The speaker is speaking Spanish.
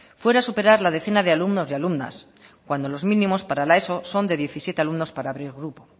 fuera superar la decena de alumnos y alumnas cuando los mínimos para la eso son de diecisiete alumnos para abrir grupo